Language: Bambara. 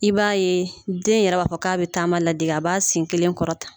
I b'a ye den yɛrɛ b'a fɔ k'a bɛ taama ladege a b'a sen kelen kɔrɔta